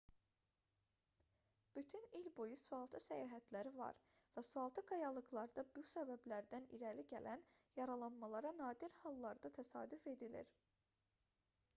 bütün il boyu sualtı səyahətləri var və sualtı qayalıqlarda bu səbəblərdən irəli gələn yaralanmalara nadir hallarda təsadüf edilir